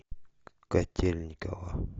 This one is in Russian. котельниково